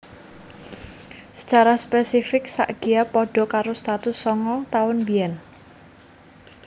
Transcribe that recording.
Sacara spesifik sak Gya padha karo satus sanga taun biyen